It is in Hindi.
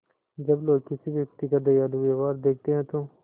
जब लोग किसी व्यक्ति का दयालु व्यवहार देखते हैं तो